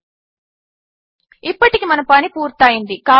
000737 000710 ఇప్పటికి మన పని పూర్తి అయ్యింది